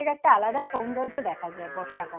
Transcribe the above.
পাহাড়ের একটা আলাদা সৌন্দর্য দেখা যায় বর্ষাকালে